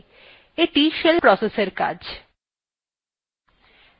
এইটি shell processএর কাজ